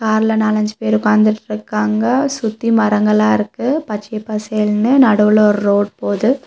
அதுல நாலஞ்சு பேரு உக்காந்துட்ருக்காங்க சுத்தியு மரங்களா இருக்கு பச்சை பசேல்லுனு நடுவுல ஒரு ரோடு போது.